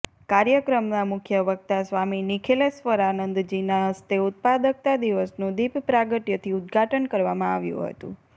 કાર્યક્રમના મુખ્ય વકતા સ્વામી નિખિલેશ્ર્વરાનંદજીના હસ્તે ઉત્પાદકતા દિવસનું દિપ પ્રાગટયથી ઉદઘાટન કરવામાં આવ્યું હતું